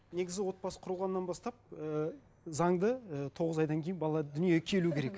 негізі отбасы құрылғаннан бастап ыыы заңды ы тоғыз айдан кейін бала дүниеге келу керек